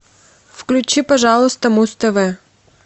включи пожалуйста муз тв